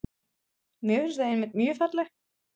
Mér finnst þau einmitt mjög falleg.